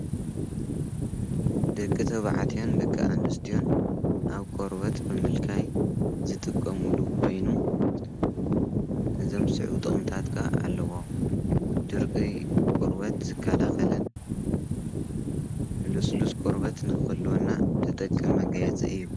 ደቂ ተብዓትዮን ደቂ ኣንስትዮን ኣብ ቆርበት ብምልካይ ዝትቆሙሉ ኸይኑ ዘምስዑ ጥቕምታትካ ኣለዎ ድርቂ ቆርበት ዝካላኸልን ሉስሉስ ቆርበት ነኽልወና ድጠቂ መጋየጽ እዩ።